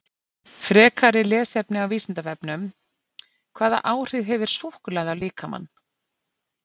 Frekara lesefni á Vísindavefnum: Hvaða áhrif hefur súkkulaði á líkamann?